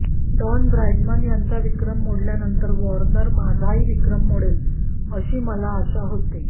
don Bradman यांचा विक्रम मोडल्यानंतर वॉर्नर माझाही विक्रम मोडले अशी मला आशा होती